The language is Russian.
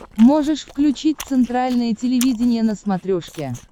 можешь включить центральное телевидение на смотрешке